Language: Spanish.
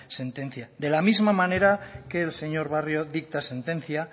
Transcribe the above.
sentencia de las misma manera que el señor barrio dicta sentencia